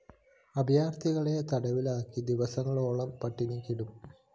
അഭയാര്‍ഥികളെ തടവിലാക്കി ദിവസങ്ങളോളം പട്ടിണിക്കിടും